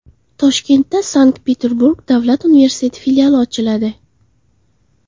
Toshkentda Sankt-Peterburg davlat universiteti filiali ochiladi.